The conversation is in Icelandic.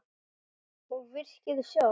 Og virkið sjálft?